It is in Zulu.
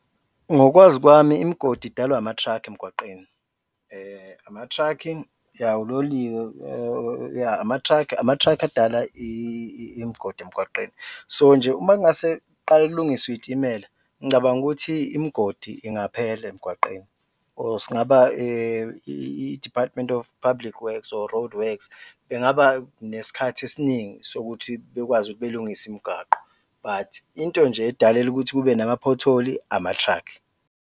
Ngokwazi kwami imigodi idalwa ama-truck emgwaqeni ama-truck-i, yah, uloliwe, yah, ama-truck edala imigodi emgwaqeni, so nje uma kungase kuqale kulungiswe iy'timela, ngicabanga ukuthi imigodi ingaphela emgwaqeni or singaba i-Department of Public Works or roadworks bengaba nesikhathi esiningi sokuthi bekwazi ukuthi belungise imigwaqo but into nje edalela ukuthi kube nama-pothole-i ama-truck.